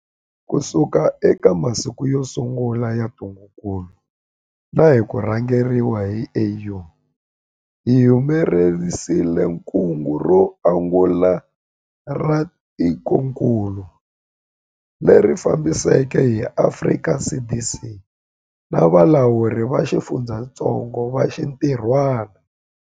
Kusuka eka masiku yo sungula ya ntungukulu na hi ku rhangeriwa hi AU, hi humelerisile kungu ro angula ra tikokulu, leri fambisiweke hi Afrika CDC na valawuri va xifundzatsongo va xintirhwana.